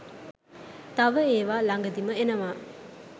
තව ඒවා ළඟදිම එනවා